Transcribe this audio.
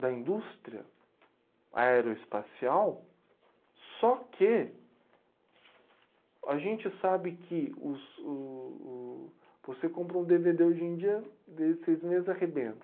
da indústria aeroespacial, só que a gente sabe que... Os o o você compra um devedê hoje em dia, seis meses arrebenta.